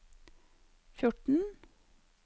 fjorten